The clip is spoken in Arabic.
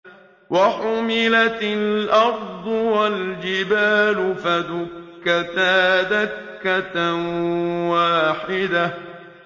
وَحُمِلَتِ الْأَرْضُ وَالْجِبَالُ فَدُكَّتَا دَكَّةً وَاحِدَةً